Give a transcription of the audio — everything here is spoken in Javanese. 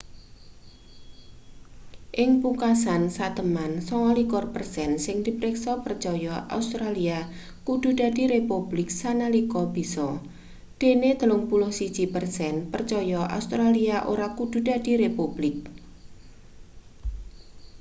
ing pungkasan seteman 29 persen sing dipriksa percaya australia kudu dadi republik sanalika bisa dene 31 persen percaya australia ora kudu dadi republik